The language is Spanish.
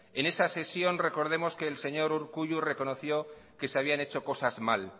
en esa sesión recordemos que el señor urkullu reconoció que se habían hecho cosas mal